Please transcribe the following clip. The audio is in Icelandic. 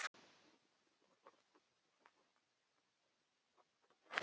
við eigum svar við þessari spurningu